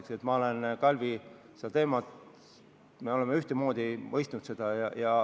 Nii et me oleme, Kalvi, seda teemat sinuga ühtemoodi mõistnud.